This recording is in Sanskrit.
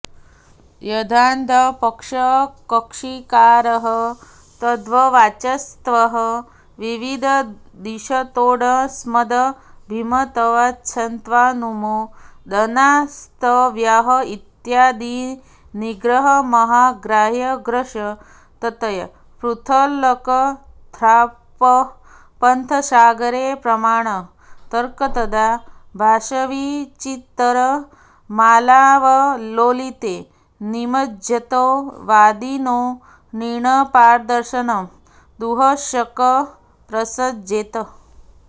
यद्याद्यपक्षकक्षीकारः तर्ह्यवाच्यत्वं विविदिषतोऽस्मदभिमतवाच्यत्वानुमोदनात्स्वव्याहत्यादिनिग्रहमहाग्राहग्रस्ततया पृथुलकथाप्रपथसागरे प्रमाणतर्कतदाभासवीचीतरङ्गमालावलोलिते निमज्जतो वादिनो निर्णयपारदर्शनं दुःशकं प्रसज्जेत